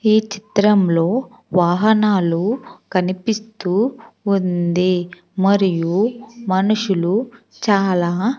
ఈ చిత్రంలో వాహనాలు కనిపిస్తూ ఉంది మరియు మనుషులు చాలా--